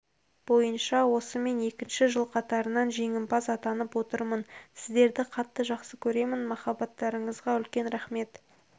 бойынша осымен екінші жыл қатарынан жеңімпаз атанып отырмын сіздерді қатты жақсы көремін махаббаттарыңызға үлкен рақмет